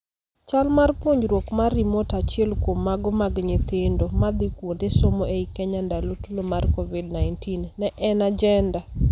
Chal mar puonjruok mar remote achiel kuom mago mag nyithindo madhii kuonde somo ei Kenya ndalo Tulo mar Covid-19, ne en agenda.